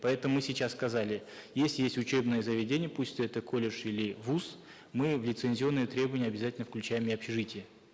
поэтому мы сейчас сказали если есть учебное заведение пусть это колледж или вуз мы в лицензионное требование обязательно включаем и общежития